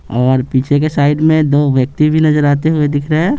और पीछे के साइड में दो व्यक्ति भी नजर आते हुए दिख रहे हैं।